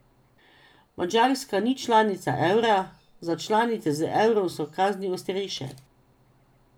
Madžarska ni članica evra, za članice z evrom so kazni ostrejše.